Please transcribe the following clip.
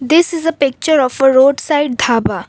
this is a picture of a roadside dhaba.